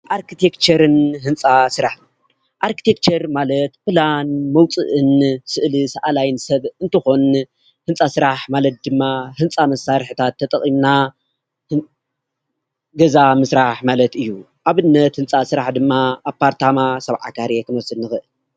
አርክቴክቸርን ህንፃ ስራሕን፦ አርክቴክቸር ማለት ፕላን መውፅእን ስእሊ ሳአላይን ስብ እንትኮን፤ ህንፃ ስራሕ ማለት ድማ ህንፃ መሳርሕታት ተጠቂምና ገዛ ምስራሕ ማለት እዩ፡፡ ኣብነት ህንፃ ስራሕ ድማ አፓርታማ፣ ስብዓ ካሬ ክንወስድ ንክእል፡፡